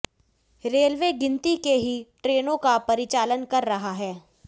railway गिनती के ही ट्रेनों का परिचालन कर रहा है